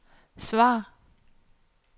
svar